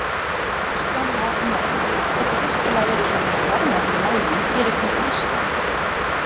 Kristján Már Unnarsson: Gætu virkilega verið svona mikil verðmæti í málmum hér í kringum Ísland?